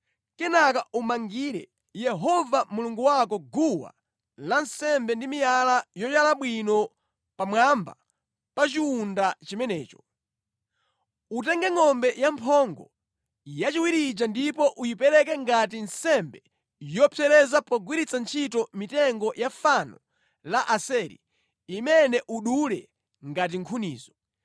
Kenaka umangire Yehova Mulungu wako guwa lansembe ndi miyala yoyala bwino pamwamba pa chiwunda chimenecho. Utenge ngʼombe ya mphongo yachiwiri ija ndipo uyipereke ngati nsembe yopsereza pogwiritsa ntchito mitengo ya fano la Asera imene udule ngati nkhunizo.”